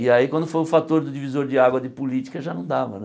E aí, quando foi o fator do divisor de água de política, já não dava, né?